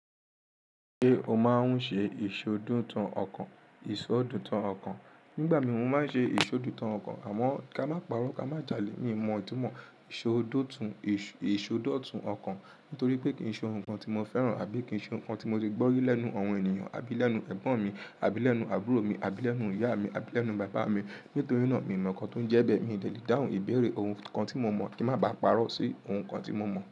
Ṣé o máa ń ṣe ìṣódùn tun ọkàn? Ìsọdùn tán ọkàn, nígbà mìí mo máa ń ṣe ìṣódùn tán ọkàn àmọ́ ká má parọ́ ká má jálè ní ìbọn ọtímọ́ ìṣódòtun, ìṣódòtun ọkàn nítorí pé kí nǹ kan tí mo fẹ́ràn àbí kí nǹ kan tí mo ti gbọ́ rí lẹ́nu àwọn ènìyàn àbí lẹ́nu ẹ̀gbọ́n mi àbí lẹ́nu àbúrò mi àbí lẹ́nu ìyá mi àbí lẹ́nu bàbá mi. Nítorí náà, miì mọ̀ nǹkan tó ń jẹ́ bẹ́ẹ̀, miì dẹ̀ lè dáhùn ìbéèrè ohun kan tí mo ò mọ̀ kí n má báa parọ́ sí ohun kan tí mo mọ̀